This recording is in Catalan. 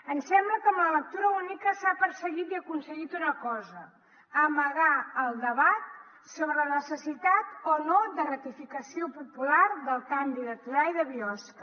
ens sembla que amb la lectura única s’ha perseguit i aconseguit una cosa amagar el debat sobre la necessitat o no de ratificació popular del canvi de torà i de biosca